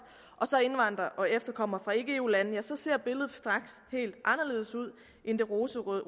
og så indvandrere og efterkommere fra ikke eu lande ja så ser billedet straks helt anderledes ud end det rosenrøde